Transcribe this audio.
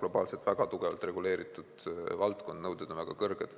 globaalselt väga tugevalt reguleeritud valdkond, nõuded on väga kõrged.